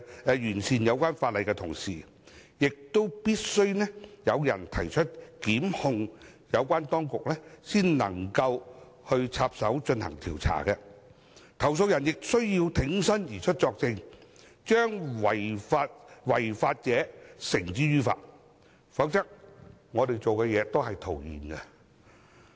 在完善有關法例的同時，必須有人作出申訴或提出告發，有關當局才能介入進行調查，投訴人亦需要挺身而出作證，將違法者繩之於法，否則我們所做的工作也是徒然。